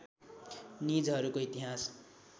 निजहरूको इतिहास